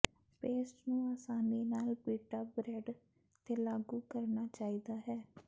paste ਨੂੰ ਆਸਾਨੀ ਨਾਲ ਪੀਟਾ ਬ੍ਰੈੱਡ ਤੇ ਲਾਗੂ ਕਰਨਾ ਚਾਹੀਦਾ ਹੈ